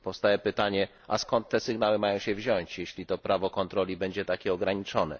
Powstaje pytanie, skąd te sygnały mają się wziąć, jeśli to prawo kontroli będzie takie ograniczone?